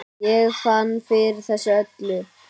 Ég fann fyrir þessu öllu.